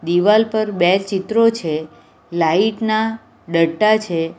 દિવાલ પર બે ચિત્રો છે લાઈટ ના ડટ્ટા છે.